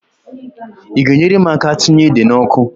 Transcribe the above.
I ga-enyere m aka tinye ede n'ọkụ?